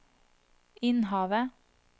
Innhavet